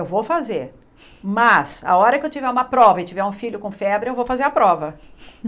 Eu vou fazer, mas a hora que eu tiver uma prova e tiver um filho com febre, eu vou fazer a prova.